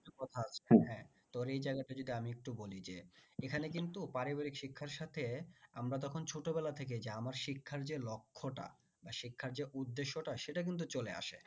তোর এই জায়গাতে যদি আমি একটু বলি যে এখানে কিন্তু পারিবারিক শিক্ষার সাথে আমরা তখন ছোটোবেলা থেকেই যে আমার শিক্ষার যে লক্ষ্যটা বা শিক্ষার যে উদেশ্যটা সেটা কিন্তু চলে আসে।